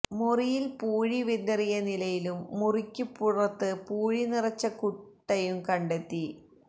മുറിയില് പൂഴി വിതറിയ നിലയിലും മുറിക്ക് പുറത്ത് പൂഴി നിറച്ച കൂട്ടയും കണ്ടെത്തി